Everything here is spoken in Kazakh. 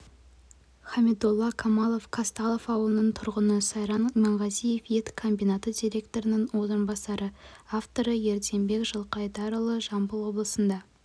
хамидолла камалов қазталов ауылының тұрғыны сайран иманғазиев ет комбинаты директорының орынбасары авторы ерденбек жылқайдарұлы жамбыл облысында